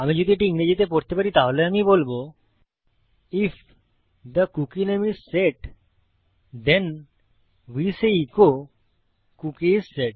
আমি যদি এটি ইংরেজিতে পড়ি তাহলে আমি বলবো if the cookie name is set then we say echo cookie is set